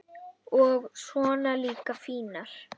og svona líka fínar.